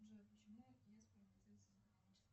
джой почему